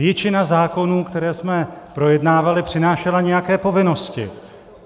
Většina zákonů, které jsme projednávali, přinášela nějaké povinnosti.